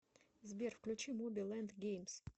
сбер включи моби лэнд геймс